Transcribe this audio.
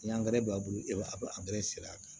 Ni b'a bolo e b'a sen a kan